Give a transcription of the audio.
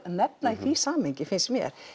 nefna í því samhengi finnst mér